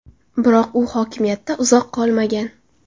Biroq u hokimiyatda uzoq qolmagan.